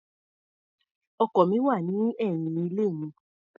Ọkọ̀ mi wà ní ẹ̀yìn ilé mi.